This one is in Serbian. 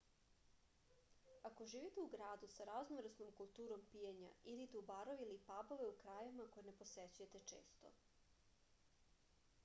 ako živite u gradu sa raznovrsnom kulturom pijenja idite u barove ili pabove u krajevima koje ne posećujete često